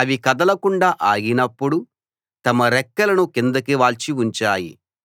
అవి కదలకుండా ఆగినప్పుడు తమ రెక్కలను కిందకి వాల్చి ఉంచాయి